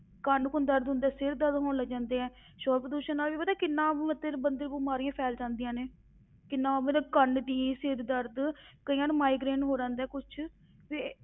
ਕੰਨ ਕੁੰਨ ਦਰਦ ਹੁੰਦੇ, ਸਿਰ ਦਰਦ ਹੋਣ ਲੱਗ ਜਾਂਦੇ ਆ, ਸ਼ੌਰ ਪ੍ਰਦੂਸ਼ਣ ਨਾਲ ਵੀ ਪਤਾ ਕਿੰਨਾ ਮਤਲਬ ਬੰਦੇ ਨੂੰ ਬਿਮਾਰੀਆਂ ਫੈਲ ਜਾਂਦੀਆਂ ਨੇ, ਕਿੰਨਾ ਮਤਲਬ ਕੰਨ ਦੀ, ਸਿਰ ਦਰਦ, ਕਈਆਂ ਨੂੰ migraine ਹੋ ਰਹਿੰਦੇ ਆ ਕੁਛ ਤੇ